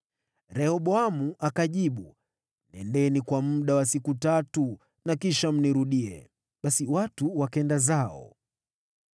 Rehoboamu akajibu, “Nendeni kwa muda wa siku tatu na kisha mnirudie.” Basi watu wakaenda zao.